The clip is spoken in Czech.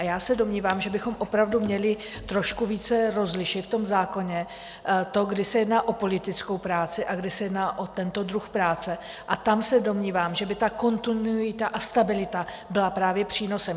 A já se domnívám, že bychom opravdu měli trošku více rozlišit v tom zákoně to, kdy se jedná o politickou práci a kdy se jedná o tento druh práce, a tam se domnívám, že by ta kontinuita a stabilita byla právě přínosem.